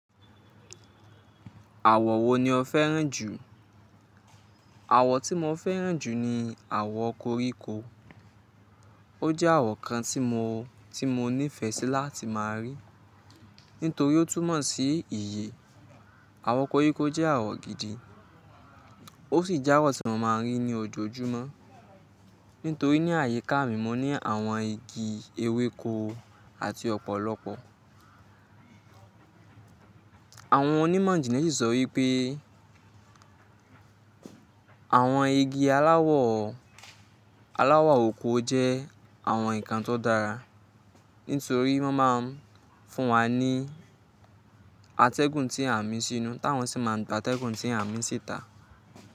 Àwọ̀ wo ni o fẹ́ràn jù? Àwọ̀ tí mo fẹ́ràn jù ni àwọ̀ koríko. Ó jẹ́ àwọ̀ kan tí mo, tí mo nífẹ̀ẹ́ sí láti máa rí, nítorí ó túnmọ̀ sí ìyè. Àwọ̀ koríko jẹ́ àwọ̀ gidi, ó sì jẹ́ àwọ̀ tí mo máa ń rí ní ojoojúmọ́. Nítorí ní àyíká mi, mo ní àwọn igi ewéko àti ọ̀pọ̀lọpọ̀. Àwọn onímọ̀ ìjìnlẹ̀ sì sọ wípé àwọn igi aláwọ̀, aláwọ̀ oko jẹ́ àwọn ǹkan tó dára, nítorí wọ́n máa ń fún wa ní atẹ́gùn tí à ń mí sínú, táwọn sì máa ń gba atẹ́gùn tí à ń mí sí ta.